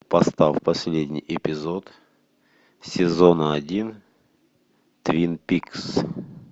поставь последний эпизод сезона один твин пикс